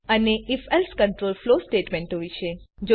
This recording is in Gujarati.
અને ifએલ્સે કન્ટ્રોલ ફ્લો સ્ટેટમેંટો વિશે